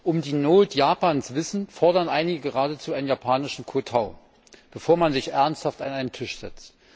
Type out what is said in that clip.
Um die Not Japans wissend, fordern einige geradezu einen japanischen Kotau, bevor man sich ernsthaft an einen Tisch setzt.